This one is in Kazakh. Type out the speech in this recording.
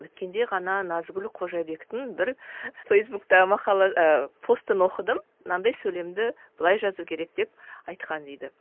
өткенде ғана назгүл қожабектің бір фейсбукта мақала ы постан оқыдым мынандай сөйлемді былай жазу керек деп айтқан дейді